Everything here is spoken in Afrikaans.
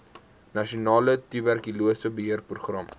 nasionale tuberkulose beheerprogram